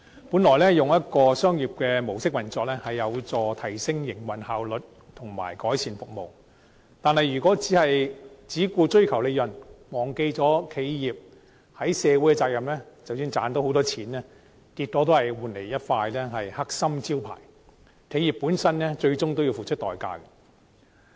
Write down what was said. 本來以商業模式運作，有助提升營運效率及改善服務，但如果只顧追求利潤，忘記了企業的社會責任，即使賺到龐大利潤，結果只會換來一塊"黑心招牌"，企業本身最終都要付出代價。